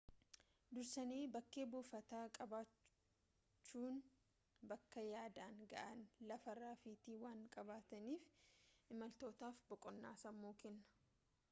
dursanii bakkee buufataa qabachuunyemmuu bakka yaadan ga'an lafa rafiitii waan qabaataniif imaltootaaf boqonnaa sammuu kenna